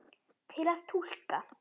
Til að túlka